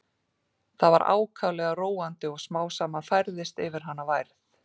Það var ákaflega róandi og smám saman færðist yfir hana værð.